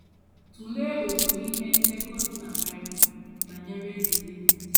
Tụlee otu ihe ndekọ dị na Bible banyere Eze Devid.